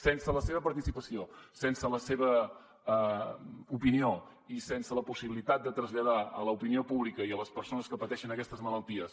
sense la seva participació sense la seva opinió i sense la possibilitat de traslladar a l’opinió pública i a les persones que pateixen aquestes malalties